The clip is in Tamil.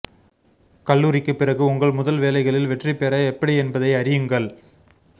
கல்லூரிக்குப் பிறகு உங்கள் முதல் வேலைகளில் வெற்றி பெற எப்படி என்பதை அறியுங்கள்